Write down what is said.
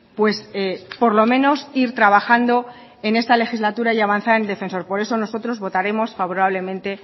pues por lo menos ir trabajando en esta legislatura y avanzar en defensor por eso nosotros votaremos favorablemente